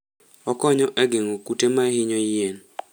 Okonyo e geng'o kute ma hinyo yien.